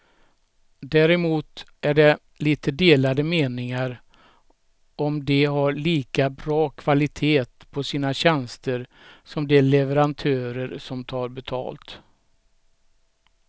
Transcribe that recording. Däremot är det lite delade meningar om de har lika bra kvalitet på sina tjänster som de leverantörer som tar betalt.